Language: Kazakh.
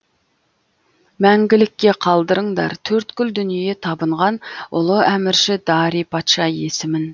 мәңгілікке қалдырыңдар төрткүл дүние табынған ұлы әмірші дарий патша есімін